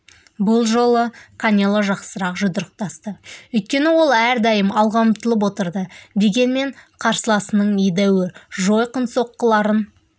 бұл жолы канело жақсырақ жұдырықтасты өйткені ол әрдайым алға ұмтылып отырды дегенмен қарсыласының едәуір жойқын соққыларын